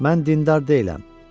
Mən dindar deyiləm.